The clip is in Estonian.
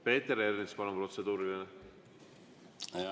Peeter Ernits, palun, protseduuriline!